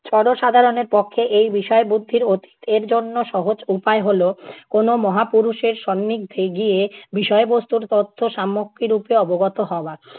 জনসাধারণের পক্ষে এই বিষয় বুদ্ধির অতীত। এর জন্য সহজ উপায় হলো, কোনো মহাপুরুষের সান্নিধ্যে গিয়ে বিষয়বস্তুর তথ্য সম্যক রূপে অবগত হওয়া